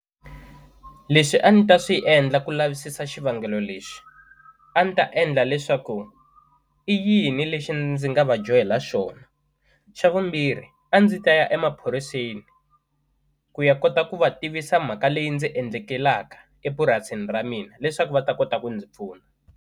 Lexi a ni ta swi endla ku lavisisa xivangelo lexi a ndzi ta endla leswaku i yini lexi ndzi nga va dyohela xona xa vumbirhi a ndzi ta ya emaphoriseni ku ya kota ku va tivisa mhaka leyi ndzi endlekelaka epurasini ra mina leswaku va ta kota ku ndzi pfuna.